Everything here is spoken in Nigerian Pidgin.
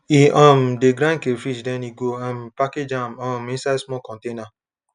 he um de grind crayfish then he go um package am um inside small containers